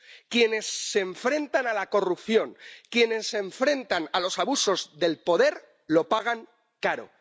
Quienes se enfrentan a la corrupción, quienes se enfrentan a los abusos del poder, lo pagan caro.